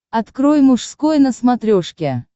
открой мужской на смотрешке